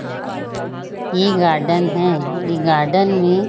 ये गार्डन है गार्डन में--